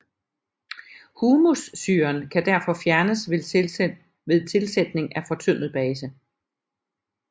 Humussyren kan derfor fjernes ved tilsætning af fortyndet base